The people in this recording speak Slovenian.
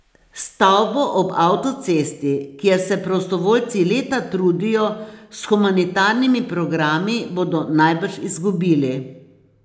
Stavbo ob avtocesti, kjer se prostovoljci leta trudijo s humanitarnimi programi, bodo najbrž izgubili.